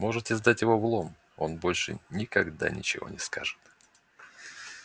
можете сдать его в лом он больше никогда ничего не скажет